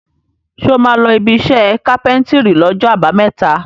Ṣé o máa lọ ibiṣẹ́ kápẹ́ńtírì lọ́jọ́ àbámẹ́ta?